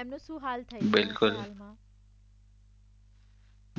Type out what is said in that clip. એમનું શું હાલ થઈ રહ્યો છે હાલમાં